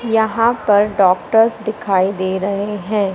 यहां पर डॉक्टर्स दिखाई दे रहे हैं।